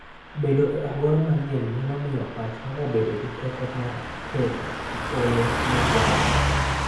Bedo e alwora manyien nyalo miyo pachwa obed gi teko mar kedo gi olo ma wan-go.